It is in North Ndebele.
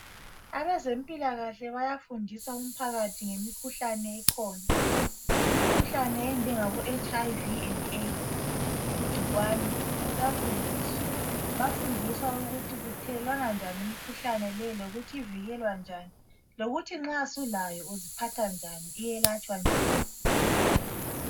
Abezempilakahle bayafundisa umphakathi ngemikhuhlane ekhona imkhuhlane enjengabo HIV le Aids igcikwane bayafundiswa, bayafundiswa ukuthi kuthelelwana njani imkhuhlane le lokuthi ivikwela njani lokuthi nxa sulayo uziphatha njani iyelatshwa njani.